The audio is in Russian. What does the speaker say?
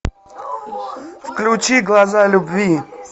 включи глаза любви